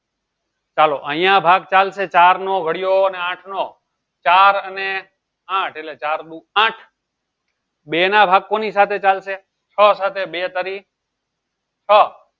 ચાલો અયીયા ભાગ ચાલશે ચાર નો ગળીયો આઠનો ચાર અને આઠ એટલે ચાર દુ આઠ બે ના ભાગ કોની સાથે ચાલશે છ સાથે બે તરી છ